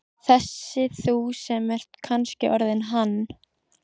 Þessi þú sem ert kannski orðinn hann.